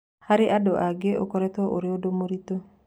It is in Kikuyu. Harĩ andũ angĩ ũkoretwo arĩ ũndũ mũritũ.